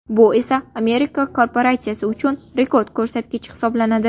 Bu esa Amerika korporatsiyasi uchun rekord ko‘rsatkich hisoblanadi.